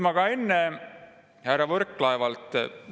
Ma ka enne härra Võrklaevalt …